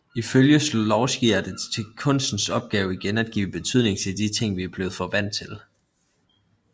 Ifølge Shklovsky er det kunstens opgave igen at give betydning til de ting vi er blevet for vant til